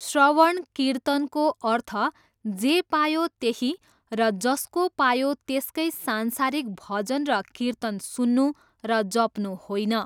श्रवण कीर्तनको अर्थ जे पायो त्यही र जसको पायो त्यसकै संसारिक भजन र कीर्तन सुन्नु र जप्नु होइन।